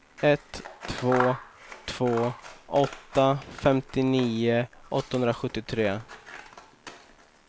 ett två två åtta femtionio åttahundrasjuttiotre